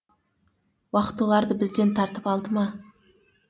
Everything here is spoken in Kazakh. уақыт оларды бізден тартып алды ма